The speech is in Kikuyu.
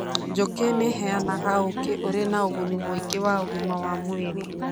Njũkĩ nĩ ĩheanaga ũũkĩ ũrĩ na ũguni mũingĩ wa ũgima wa mwĩrĩ.